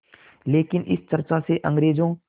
लेकिन इस चर्चा से अंग्रेज़ों